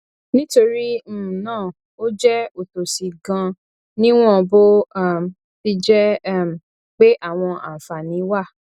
nítorí um náà ó jẹ òtòṣì ganan níwọn bó um ti jẹ um pé àwọn àǹfààní wà